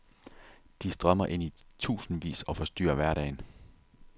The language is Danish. De strømmer ind i tusindvis og forstyrrer hverdagen.